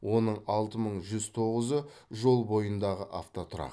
оның алты мың жүз тоғызы жол бойындағы автотұрақ